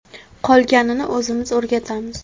Qolganini o‘zimiz o‘rgatamiz.